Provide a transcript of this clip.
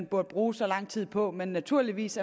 burde bruge så lang tid på men naturligvis